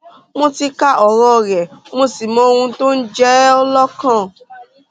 mo ti ka ọrọ rẹ mo sì mọ ohun tó ń jẹ ọ lọkàn